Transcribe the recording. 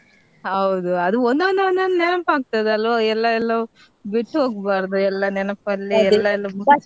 ಹೌದು ಅದು ಒಂದೊಂದು ಒಂದೊಂದು ನೆನಪ್ ಆಗ್ತಾದಲ್ವ ಎಲ್ಲಾ ಎಲ್ಲೋ ಬಿಟ್ಟು ಹೋಗ್ಬಾರದು ಎಲ್ಲಾ ನೆನ್ಪಲ್ಲಿ ಎಲ್ಲಾ .